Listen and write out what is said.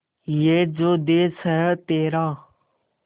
ये जो देस है तेरा